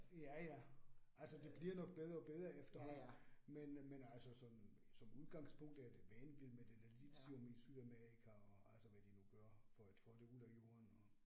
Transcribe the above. Ja ja, altså det bliver nok bedre og bedre efterhånden, men men altså som som udgangspunkt er det vanvid med det der lithium i Sydamerika og altså, hvad de nu gør for at få det ud af jorden og